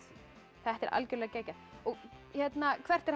þetta er algjörlega geggjað hvert er hægt